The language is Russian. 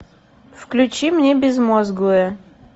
включи мне безмозглые